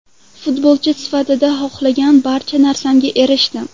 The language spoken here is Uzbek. Futbolchi sifatida xohlagan barcha narsamga erishdim.